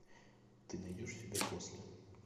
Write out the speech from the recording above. ты найдешь себя после